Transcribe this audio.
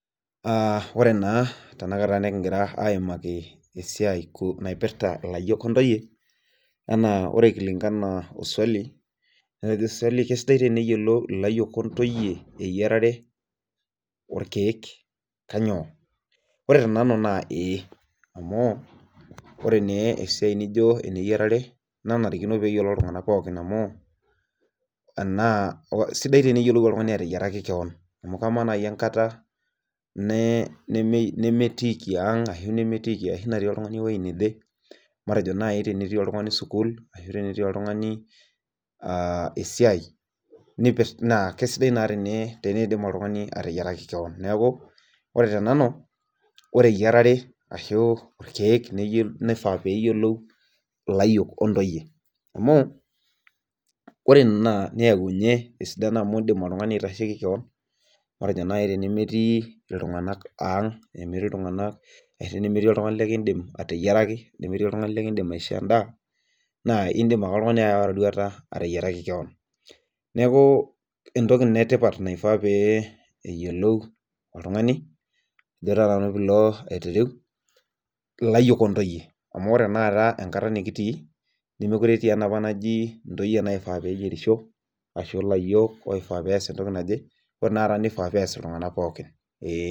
Aa ore naa tenakata nikigira aaimaki esiai kuusu naipirta ilayiok ontoyie, ore kulingana o suali. naa kejo suali keisidai teniyiolou ilayiy ontoyie eyairare. orkeek kainyioo ore tenanu naa ee .ore naa esiai eyiarare kenarikino neyiolou iltunganak pookin, amu enaa sidai teniyiolou oltungani ateyiaraki kewon. amu amaa naaji enkata nemeitoki ang',ashu natii oltungani ewueji neje. matejo naaji, tenetii oltungani sukuul, ashu tenetii oltungani loota esiai naa kisidai naa teneidim oltungani ateyiaraki koon neeku, ore tenanu ore eyiarare nifaa neyiolou, ilayiok ontoyie ore Ina kidim oltungani aitasheki koon. matejo naaji tenemetii iltunganak ang', tenemetii iltunganak, likidim ateyiaraki . nemetii oltungani likidim aishoo edaa. naa, idim ake oltungani aawa erorauta ateyiaraki kewon. neeku entoki Ina etipat naifaa pee Ilo oltungani, ifaa pee ilo, ilayiok ontoyie. amu ore taata enkata nikitii, nemeekure etii enapa naji, ontoyie naifaa pee eyierisho. ashu ilayiok loos entoki naje.